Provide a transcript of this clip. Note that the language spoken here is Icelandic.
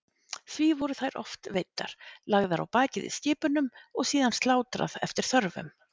Því voru þær oft veiddar, lagðar á bakið í skipunum og síðan slátrað eftir þörfum.